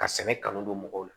Ka sɛnɛ kanu don mɔgɔw la